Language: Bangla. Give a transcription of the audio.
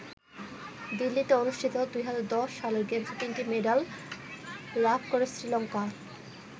দিল্লিতে অনুষ্ঠিত ২০১০ সালের গেমসে তিনটি মেডাল লাভ করে শ্রী লংকা।